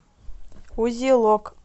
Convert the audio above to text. узелок